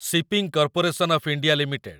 shipping corporation of India limited